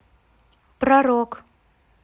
про рок